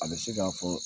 A bɛ se k'a fɔ